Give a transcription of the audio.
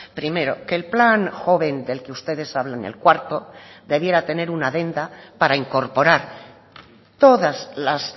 primero que el plan joven del que ustedes hablan el cuarto debiera tener una adenda para incorporar todas las